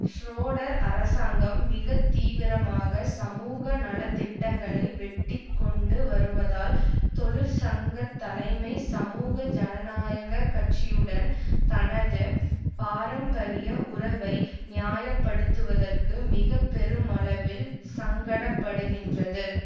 Schroeder அரசாங்கம் மிக தீவிரமாக சமூக நல திட்டங்களை வெட்டி கொண்டு வருவதால் தொழிற்சங்க தலைமை சமூக ஜனநாயக கட்சியுடன் தனது பாரம்பரிய உறவை நியாய படுத்துவதற்கு மிக பெருமளவில் சங்கடப்படுகின்றது